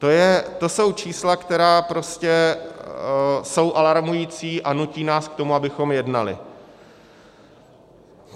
To jsou čísla, která jsou prostě alarmující a nutí nás k tomu, abychom jednali.